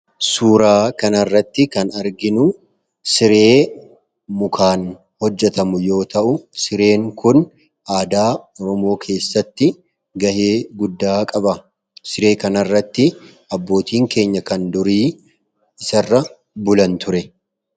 Suuraa kanaa irratti kan arginu siree mukaan hojjatamu yoo ta'u sireen kun aadaa Oromoo keessatti gahee guddaa qaba. Siree kanairratti abbootiin keenya kan durii isa irra bulan ture.